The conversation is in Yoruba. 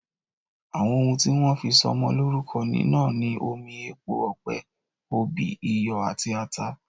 Àwọn oún tí wón fí sọ ọmọ lórúko ní náà ni omi, epo ọ̀pẹ, òbí, iyọ àti atá.